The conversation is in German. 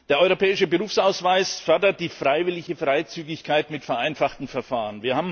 Der Europäische Berufsausweis fördert die freiwillige Freizügigkeit mit vereinfachten Verfahren.